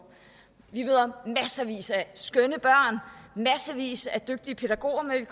vi af skønne børn massevis af dygtige pædagoger men